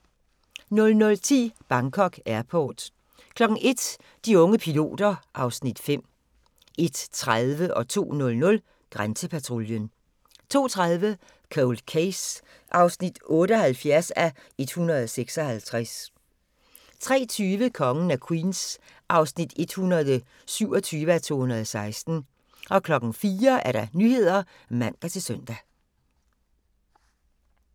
00:10: Bangkok Airport 01:00: De unge piloter (Afs. 5) 01:30: Grænsepatruljen 02:00: Grænsepatruljen 02:30: Cold Case (78:156) 03:20: Kongen af Queens (127:216) 04:00: Nyhederne (man-søn)